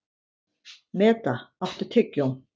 Meda, áttu tyggjó?